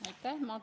Aitäh!